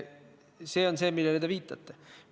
See on see, millele te viitate.